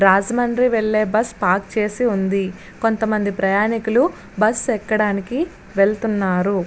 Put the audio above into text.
రాజముండ్రి వేల్లే bus park చేసివుంది. కొంతమంది ప్రయాణికులు బస్సు ఏక్కడానికి వెలుతున్నారు.